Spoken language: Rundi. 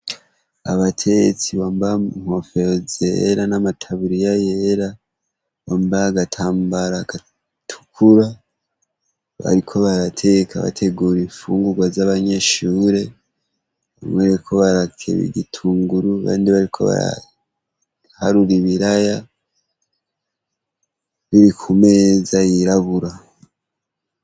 Abatetsu bambaye inkofero zera nataburiya yera nagatambara gatukura bariko barateka bategure ilfungurwa zabanyeshure bamwe bariko barakeba ibitunguru abandi ibiraya kumeza yirabura.